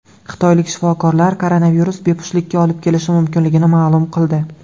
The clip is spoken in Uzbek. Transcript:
Xitoylik shifokorlar koronavirus bepushtlikka olib kelishi mumkinligini ma’lum qildi .